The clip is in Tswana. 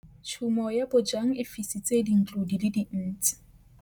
Tshumô ya bojang e fisitse dintlo di le dintsi.